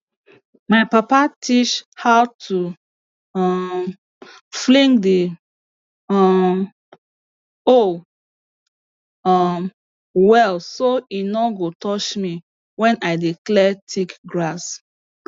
my papa teach how to um fling the um hoe um well so e no go touch me when i dey clear thick grass